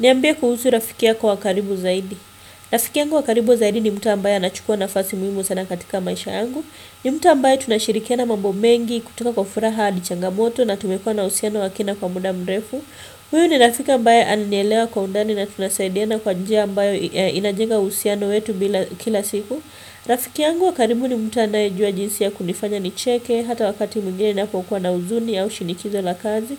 Niambie kuhusu rafiki yako wa karibu zaidi. Rafiki yangu wa karibu zaidi ni mtu ambaye anachukua nafasi muhimu sana katika maisha yangu. Ni mtu ambaye tunashirikiana mambo mengi kutoka kwa furaha hadi changamoto na tumekua na uhusiano wa kina kwa muda mrefu. Huyu ni rafiki ambaye ananielewa kwa undani na tunasaidiana kwa njia ambayo inajenga uhusiano wetu kila siku. Rafiki yangu wa karibu ni mtu anayejua jinsi ya kunifanya nicheke hata wakati mwingine ninapokuwa na huzuni au shinikizo la kazi.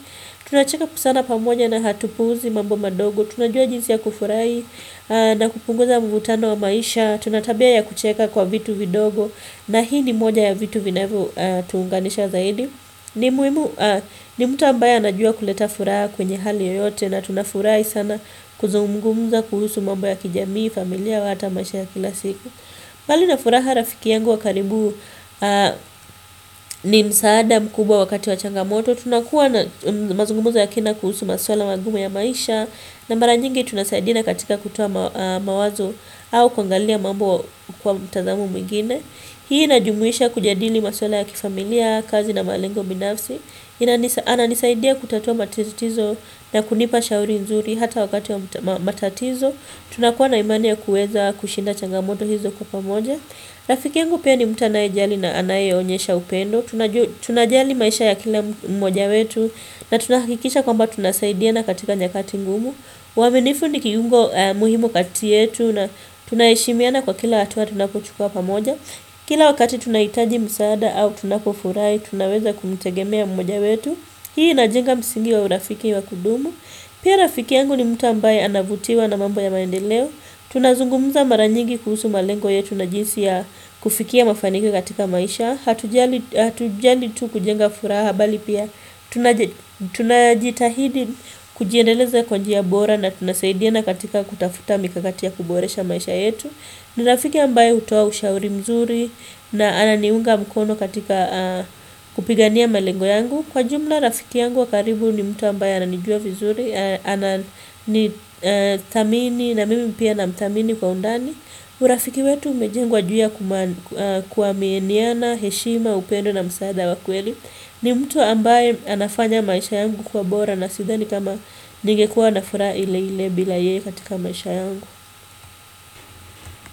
Tunacheka sana pamoja na hatupuuzi mambo madogo. Tunajua jinsi ya kufurahi na kupunguza mvutano wa maisha. Tuna tabia ya kucheka kwa vitu vidogo. Na hii ni moja ya vitu vinavyotuunganisha zaidi. Ni muhimu, ni mtu ambaye anajua kuleta furaha kwenye hali yoyote na tunafurai sana kuzungumuza kuhusu mambo ya kijamii, familia au hata maisha ya kila siku bali na furaha rafiki yangu wa karibu ni msaada mkubwa wakati wa changamoto Tunakuwa na mazungumzo ya kina kuhusu maswala magumu ya maisha na mara nyingi tunasaidiana katika kutoa mawazo au kuangalia mambo kwa mtazamo mwingine Hii inajumuisha kujadili maswala ya kifamilia, kazi na malengo binafsi Ananisaidia kutatua matitizo na kunipa shauri nzuri hata wakati wa matatizo Tunakuwa na imaniya kuweza kushinda changamoto hizo kwa pamoja Rafiki yangu pia ni mtu anayejali na anayeonyesha upendo Tunajali maisha ya kila mmoja wetu na tunahakikisha kwamba tunasaidiana katika nyakati ngumu uaminifu ni kiungo muhimu kati yetu na tunaheshimiana kwa kila hatua tunapochukua pamoja Kila wakati tunahitaji msaada au tunapofurahi Tunaweza kuitegemea mmoja wetu Hii inajenga msingi wa urafiki wa kudumu Pia rafiki yangu ni mtu ambaye anavutiwa na mambo ya maendeleo Tunazungumza mara nyigi kuhusu malengo yetu na jinsi ya kufikia mafanikio katika maisha hatujali tu kujenga furaha bali pia tunajitahidi kujiendeleza kwa njia bora na tunasaidina katika kutafuta mikakati ya kuboresha maisha yetu ni rafiki ambaye hutoa ushauri mzuri na ananiunga mkono katika kupigania malengo yangu, kwa jumla rafiki yangu wa karibu ni mtu ambaye ananijua vizuri ananithamini na mimi pia namthamini kwa undani urafiki wetu umejengwa juu ya kuaminiana, heshima, upendo na msaada wa kweli ni mtu ambaye anafanya maisha yangu kuwa bora na sidhani kama ningekua na furaha ile ile bila yeye katika maisha yangu.